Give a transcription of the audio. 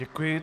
Děkuji.